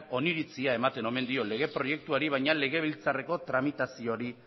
oniritzia ematen omen dio lege proiektuari baina legebiltzarreko tramitazioari